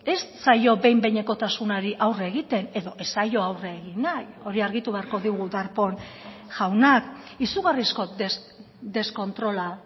ez zaio behin behinekotasunari aurre egiten edo ez zaio aurre egin nahi hori argitu beharko digu darpón jaunak izugarrizko deskontrola